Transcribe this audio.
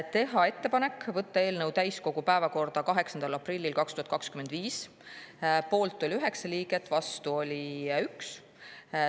Teha ettepanek võtta eelnõu täiskogu päevakorda 8. aprillil 2025, poolt oli 9 liiget, vastu 1.